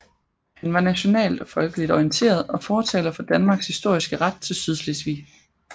Han var nationalt og folkeligt orienteret og fortaler for Danmarks historiske ret til Sydslesvig